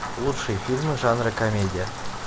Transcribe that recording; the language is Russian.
лучшие фильмы жанра комедия